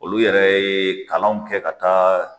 Olu yɛrɛ ye kalanw kɛ ka taa